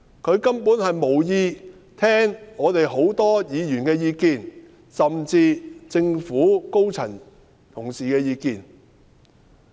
她根本無意聽我們許多議員的意見，甚至政府高層同事的意見。